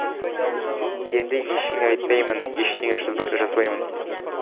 енді ештеңе айтпаймын ештеңе жазбаймын